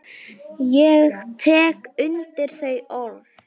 Ég tek undir þau orð.